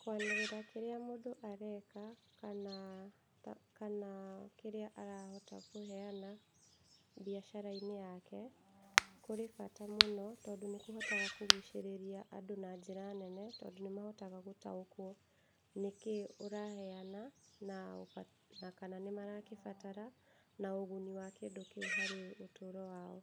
Kwanĩrĩra kĩrĩa mũndũ areka, kana kĩrĩa arahota kũneana biacara-inĩ yake kũrĩ bata mũno tondũ nĩ kũhotaga kũgucĩrĩria andũ na njĩra nene , tondũ nĩ mahotaga gũtaũkwo nĩkĩĩ ũraheana, na kana nĩ marakĩbatara na ũguni wa kĩndũ kĩu harĩ ũtũro wao,